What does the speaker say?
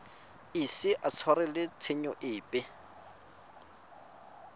ise a tshwarelwe tshenyo epe